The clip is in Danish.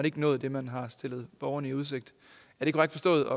ikke nået det man har stillet borgerne i udsigt er det korrekt forstået